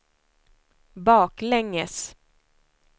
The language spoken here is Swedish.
baklänges